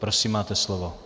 Prosím, máte slovo.